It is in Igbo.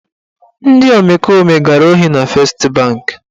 Ndị omekome gara ohi na Fest banki.